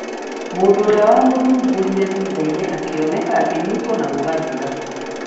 Mũndũ ũrĩa wamũthumbũrire thutha-inĩ akĩoneka akĩnyiitwo na gũgaathira.